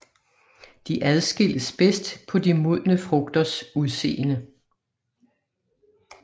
De adskilles bedst på de modne frugters udseende